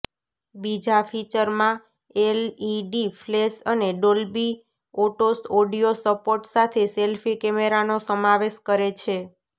બીજા ફીચરમાં LED flash અને ડોલ્બી એટોસ ઓડિયો સપોર્ટ સાથે સેલ્ફી કૅમેરાનો સમાવેશ કરે છે